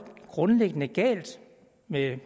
grundlæggende galt med